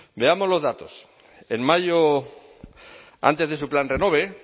veamos los datos en mayo antes de su plan renove